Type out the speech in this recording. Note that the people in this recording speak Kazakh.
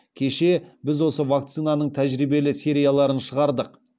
кеше біз осы вакцинаның тәжірибелі серияларын шығардық